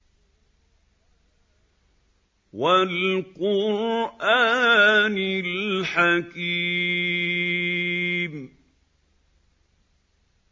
وَالْقُرْآنِ الْحَكِيمِ